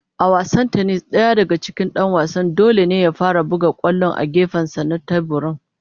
A wasan tennis .Daya daga cikin Dan wasan dole ne ya fara buga kwallon a gefensa na teburin.